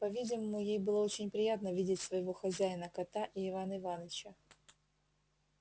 по-видимому ей было очень приятно видеть своего хозяина кота и ивана иваныча